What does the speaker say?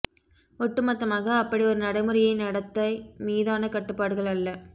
ஒட்டுமொத்தமாக அப்படி ஒரு நடைமுறையை நடத்தை மீதான கட்டுப்பாடுகள் அல்ல